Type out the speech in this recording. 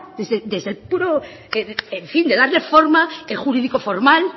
desde el puro en fin de darle forma jurídico formal